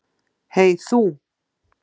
Hey þú.